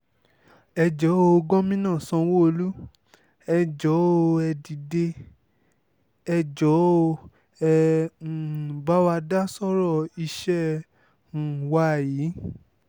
ẹ jọ̀ọ́ o gómìnà sanwó-olú ẹ̀ jọ̀ọ́ o ẹ̀ dìde ẹ̀ jọ̀ọ́ o ẹ um bá wa dá sọ́rọ̀ iṣẹ́ um wa yìí